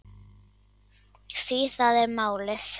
Því það er málið.